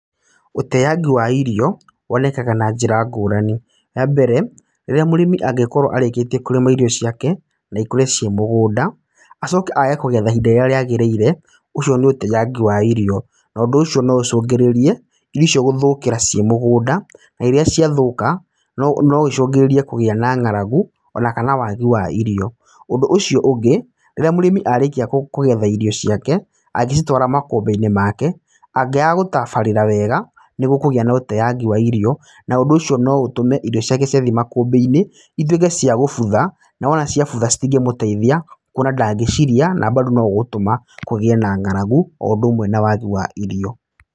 Ũteangi wa irio, wonekaga na njĩra ngũrani. Wa mbere, rĩrĩa mũrĩmi angĩkorwo arĩkĩtie kũrĩma irio ciake, na ikũre ciĩ mũgũnda, acoke aage kũgetha ihinda rĩrĩa rĩagĩrĩire, ũcio nĩ ũteangi wa irio. Na ũndũ ũcio no ũcũngĩrĩrie, irio icio gũthũkĩra ciĩ mũgũnda. Na rĩrĩa ciathũka, no icũngĩrĩrie kũgĩa na ng'aragu, ona kana wagi wa irio. Ũndũ ũcio ũngĩ, rĩrĩa mũrĩmi arĩkia kũgetha irio ciake, angĩcitwara makũmbĩ-inĩ make, angĩaga gũtabarĩra wega, nĩ gũkũgĩa na ũteangi wa irio. Na ũndũ ũcio no ũtũme irio ciake ciathi makũmbĩ-inĩ, ituĩke cia gũbutha. Na wona ciabutha citingĩmũteithia, kuona ndangĩcirĩa, na bado no ũgũtũma kũgĩe na ng'aragu, o ũndũ ũmwe na wagi wa irio.